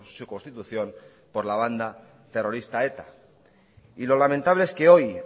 su constitución por la banda terrorista eta y lo lamentable es que hoy